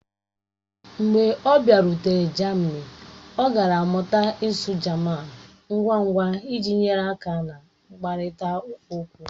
Mgbe ọ bịarutere jamini, ọ gara mụta ịsụ jaman ngwa ngwa iji nyere aka na nkparịta okwu.